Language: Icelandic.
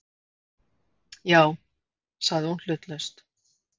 Já- sagði hún hlutlaust.